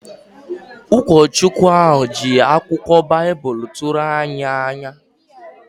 Ụkọchukwu ahụ ji akụkọ Baịbụl tụrụ anyị n’anya